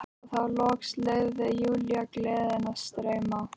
Og þá loks leyfði Júlía gleðinni að streyma.